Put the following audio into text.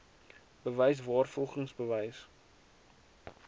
bewys waarvolgens bewys